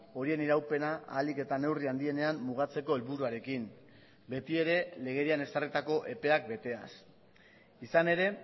horien iraupena ahalik eta neurri handienean mugatzeko helburuarekin betiere legedian ezarritako epeak beteaz izan ere